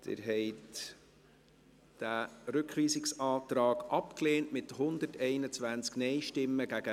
Sie haben diesen Rückweisungsantrag abgelehnt, mit 121 Nein- gegen 16 Nein-Stimmen bei 2 Enthaltungen.